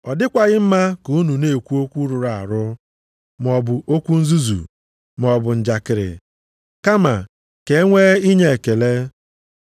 Ọ dịkwaghị mma ka unu na-ekwu okwu rụrụ arụ maọbụ okwu nzuzu maọbụ njakịrị, kama ka e nwee inye ekele.